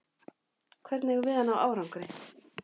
Hvernig eigum við að ná árangri?